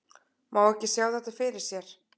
Má ekki sjá þetta fyrir sér?